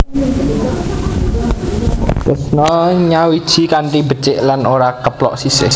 Tresna nyawiji kanthi becik lan ora keplok sisih